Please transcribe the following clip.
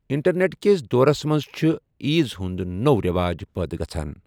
Internet کِس دورس منٛز چھِ عیٖز ہِٗنٛد نٔوو رٮ۪واج پٲدٕ گَژھان۔